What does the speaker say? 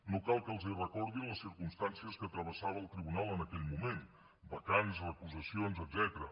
no cal que els recordi les circumstàncies que travessava el tribunal en aquell moment vacants recusacions etcètera